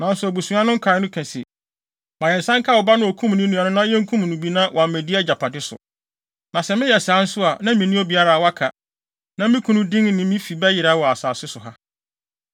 Nanso abusua no nkae no kae se, ‘Ma yɛn nsa nka wo ba no a okum ne nua no na yenkum no bi na wammedi agyapade so.’ Na sɛ meyɛ saa nso a, na minni obiara a waka, na me kunu din ne me fi bɛyera wɔ asase so ha.”